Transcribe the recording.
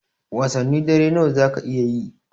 Wasannin dare nawa zaka iya yi?